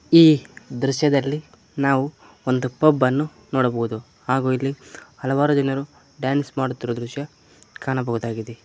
ಈ ದೃಶ್ಯದಲ್ಲಿ ನಾವು ಒಂದು ಪಬ್ ಅನ್ನು ನೋಡಬಹುದು ಹಾಗೂ ಇಲ್ಲಿ ಹಲವಾರು ಜನರು ಡ್ಯಾನ್ಸ್ ಮಾಡುತ್ತಿರುವ ದೃಶ್ಯ ಕಾಣಬಹುದಾಗಿದೆ.